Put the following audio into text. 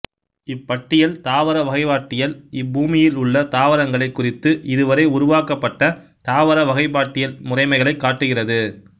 இப்பட்டியல் தாவர வகைப்பாட்டியல் இப்பூமியில் உள்ள தாவரங்களைக் குறித்து இதுவரை உருவாக்கப்பட்ட தாவர வகைப்பாட்டியல் முறைமைகளைக் காட்டுகிறது